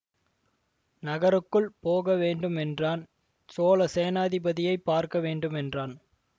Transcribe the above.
நகருக்குள் போக வேண்டும் என்றான் சோழ சேநாதிபதியைப் பார்க்க வேண்டும் என்றான்